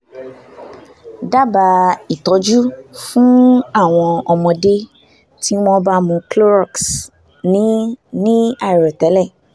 dábàá ìtọ́jú fún àwọn ọmọdé tí wọ́n bá mu clorox ní ní àìròtẹ́lẹ̀